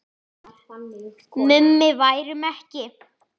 Mummi værum ekki.